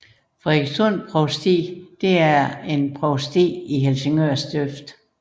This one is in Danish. Frederikssund Provsti er et provsti i Helsingør Stift